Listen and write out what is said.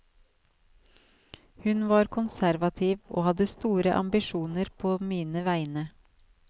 Hun var konservativ, og hadde store ambisjoner på mine vegne.